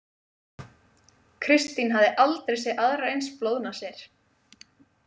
Kristín hafði aldrei séð aðrar eins blóðnasir.